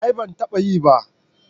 A'a ban taba yi ba